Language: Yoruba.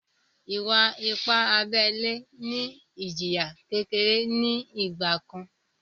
Ìwà-ipá abẹ́lẹ́ ní ìjìyà kékeré ní ìgbà kan